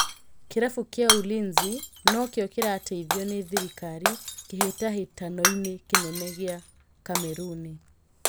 Kĩrabu gia Ulinzi nokĩo kĩrateithio nĩ thirikari kĩhĩtahĩtanoinĩ kĩnene gĩa Kameruni.